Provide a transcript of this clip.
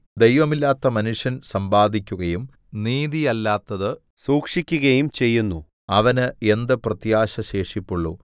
ദൈവമില്ലാത്ത മനുഷ്യന്‍ സമ്പാദിക്കുകയും നീതിയല്ലാത്തത് സൂക്ഷിക്കുകയും ചെയ്യുന്നു അവന് എന്ത് പ്രത്യാശ ശേഷിപ്പുള്ളു